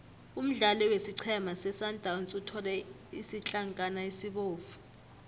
umdlali wesiqhema sesundowns uthole isitlankana esibovu